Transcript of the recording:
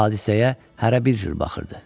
Hadisəyə hərə bir cür baxırdı.